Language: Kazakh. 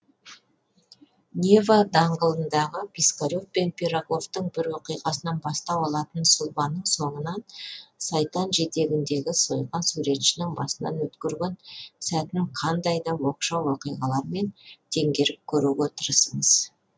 нева даңғылындағы пискарев пен пироговтің бір оқиғасынан бастау алатын сұлбаның соңынан сайтан жетегіндегі сойқан суретшінің басынан өткерген сәтін қандай да оқшау оқиғалармен теңгеріп көруге тырысыңыз